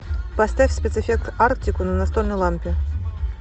поставь спецэффект арктику на настольной лампе